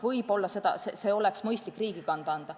Võib-olla see oleks mõistlik riigi kanda anda.